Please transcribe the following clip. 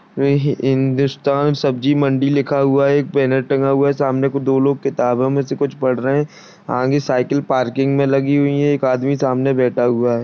वह हिंदुस्तान सब्जी मंडी लिखा हुआ है। एक बैनर टँगा हुआ है। सामने दो लोग किताबों मे से कुछ पढ़ रहे है। आगे साइकिल पार्किंग मे लगी हुई है। एक आदमी सामने बैठा हुआ है।